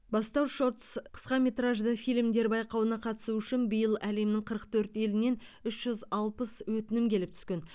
бастау шортс қысқаметражды фильмдер байқауына қатысу үшін биыл әлемнің қырық төрт елінен үш жүз алпыс өтінім келіп түскен